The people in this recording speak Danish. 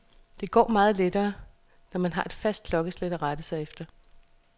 Det går meget lettere, når man har et fast klokkeslet at rette sig efter.